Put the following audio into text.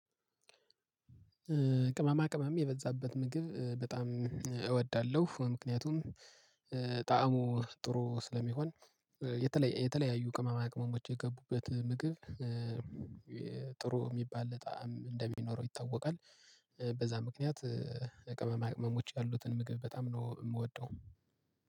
ቅመማ ቅመም የበዛበት ምግብ በጣም እወዳለሁ ምክንያቱም ጣዕሙ ጥሩ ስለሚሆን የተለያዩ ቅመማ ቅመሞች የገቡበት ምግብ ጥሩ የሚባል ጣዕም እንደሚኖረው ይታወቃል። በዛ ምክንያት ቅመማ ቅመሞች ያሉትን ምግብ በጣም ነው የምወደው።